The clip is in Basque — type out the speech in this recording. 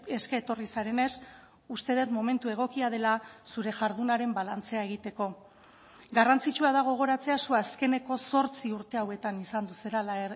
eske etorri zarenez uste dut momentu egokia dela zure jardunaren balantzea egiteko garrantzitsua da gogoratzea zu azkeneko zortzi urte hauetan izan zarela